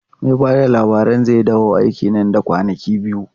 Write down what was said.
Mai ba da labarin zai dawo aiki nan da kwanaki biyu.